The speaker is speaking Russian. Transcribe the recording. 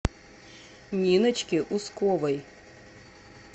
ниночки усковой